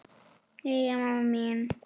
Jæja, amma mín.